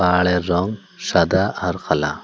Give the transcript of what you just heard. পাহাড়ের রঙ সাদা আর কালা।